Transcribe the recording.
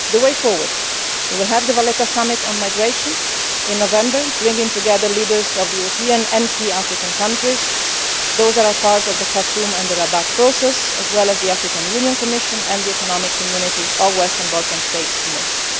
of it. With regard to the way forward, we will have the Valletta Summit on migration in November, bringing together leaders of the European and key African countries those that are part of the Khartoum and Rabat processes as well as the African Union Commission and the Economic Community of West African States Commission.